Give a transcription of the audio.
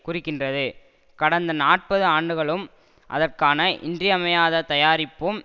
குறிக்கின்றது கடந்த நாற்பது ஆண்டுகளும் அதற்கான இன்றியமையாத தயாரிப்பும்